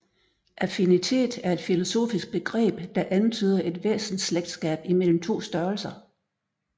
Affinitet er et filosofisk begreb der antyder et væsensslægtskab imellem to størrelser